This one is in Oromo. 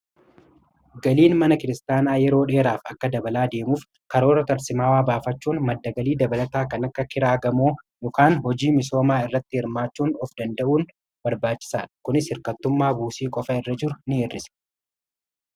galiin mana kiristaanaa yeroo dheeraaf akka dabalaa deemuuf karoora tarsimaawaa baafachuun maddagalii dabalataa kan akka kiraagamoo dhokaan hojii misoomaa irratti hirmaachuun of danda'uun barbaachisaadha kunis hirkattummaa buusii qofa irra jiru in hirrisa